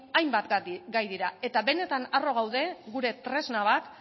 hainbat gai dira eta benetan harro gaude gure tresna bat